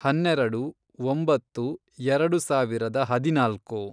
ಹನ್ನೆರೆಡು, ಒಂಬತ್ತು, ಎರೆಡು ಸಾವಿರದ ಹದಿನಾಲ್ಕು